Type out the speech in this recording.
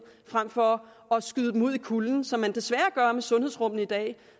frem for at skyde dem ud i kulden som man desværre gør med sundhedsrummene i dag